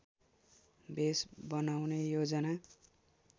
base बनाउने योजना